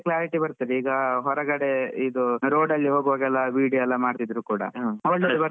Clarity ಬರ್ತದೇ ಈಗ ಹೊರಗಡೆ ರೋಡ್ ಅಲ್ಲಿ ಹೋಗ್ವಾಗ ಕೂಡ video ಎಲ್ಲಾ ಮಾಡ್ತಿದ್ರು ಕೂಡ